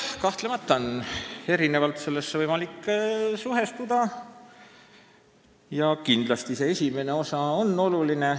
Kahtlemata on võimalik sellega erinevalt suhestuda ja see esimene osa on oluline.